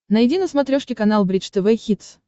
найди на смотрешке канал бридж тв хитс